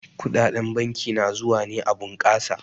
Kuɗaɗen banki na zuwa ne a bunkasa.